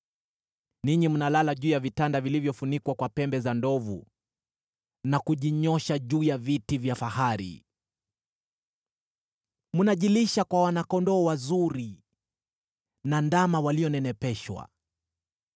Ninyi mnalala juu ya vitanda vilivyofunikwa kwa pembe za ndovu, na kujinyoosha juu ya viti vya fahari. Mnajilisha kwa wana-kondoo wazuri na ndama walionenepeshwa.